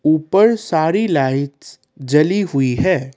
ऊपर सारी लाइट्स जली हुई है।